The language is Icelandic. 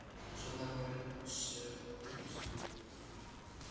Svona voru nú sögurnar hans Guðmundar ralla.